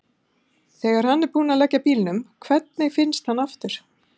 Þegar hann er búinn að leggja bílnum, hvernig finnst hann aftur?